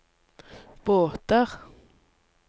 båter